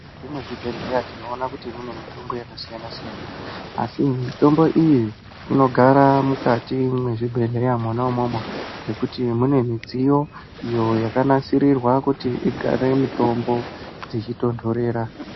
Mukati mezvibhehleya tinoona kuti mune mitombo yakasiyana siyana asi mitombo iyi inogara mukati mwezvibhehleya mwona umwomwo ngekuti mune midziyo iyo yakanasirirwa kuti igare mitombo dzichitondorera.